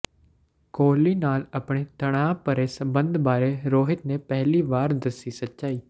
ਕੋਹਲੀ ਨਾਲ ਆਪਣੇ ਤਣਾਅ ਭਰੇ ਸਬੰਧ ਬਾਰੇ ਰੋਹਿਤ ਨੇ ਪਹਿਲੀ ਵਾਰ ਦੱਸੀ ਸੱਚਾਈ